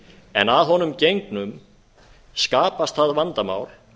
en að honum gengnum skapast það vandamál